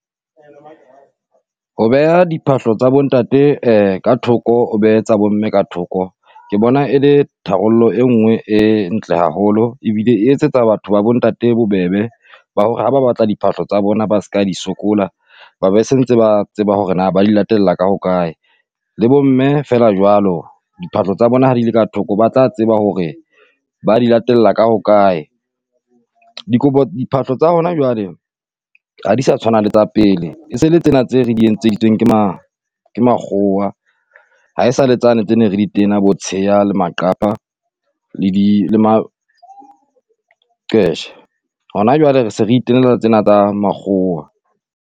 Ho beha diphahlo tsa bontate ka thoko o behe tsa bo mme ka thoko, ke bona e le tharollo e nngwe e ntle haholo. Ebile e etsetsa batho ba bontate bobebe ba hore ha ba batla diphahlo tsa bona ba ska di sokola, ba be se ntse ba tseba hore na ba di latella ka hokae le bo mme feela jwalo. Diphahlo tsa bona ha di le ka thoko, ba tla tseba hore ba di latella ka hokae. Dikobo diphahlo tsa hona jwale ha di sa tshwana le tsa pele, ese le tsena tse re di entseditsweng ke ma ke makgowa. Ha esale tsane tse ne re di tena, bo tsheha le maqhapa, le di le maqeshe. Hona jwale re se re itenela tsena tsa makgowa.